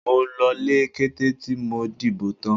Mo lọlé kété tí mo dìbò tán.